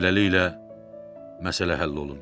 Beləliklə, məsələ həll olundu.